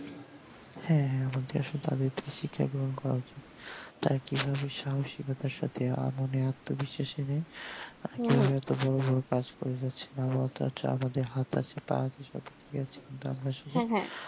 হ্যাঁ হ্যাঁ আমাদের তো তাদের থেকে শিক্ষা গ্রহণ করা উচিত তারা কি ভাবে সাহসী কতার সাথে এমনি এত্ত বিশ্বাস নিয়ে এত বোরো বোরো কাজ করে যাচ্ছে আমাদের তো হাত আছে পা আছে কিন্তু আমরা